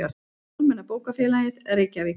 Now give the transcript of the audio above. Almenna bókafélagið, Reykjavík.